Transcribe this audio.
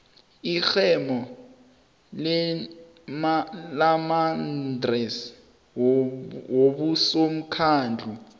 irhemo lamaadresi wabosomkhandlu